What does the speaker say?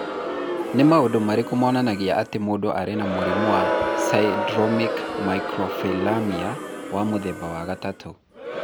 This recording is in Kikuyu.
Nĩ maũndũ marĩkũ monanagia atĩ mũndũ arĩ na mũrimũ wa Syndromic microphthalmia, wa mũthemba wa gatatũ?